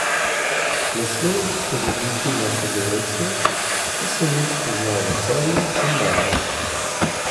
Ne smem pozabiti na sodelavce, ki sem jih spoznal v Celju in Mariboru.